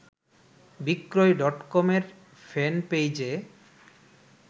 বিক্রয় ডটকমের ফ্যানপেইজে